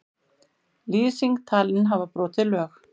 Lýsing talin hafa brotið lög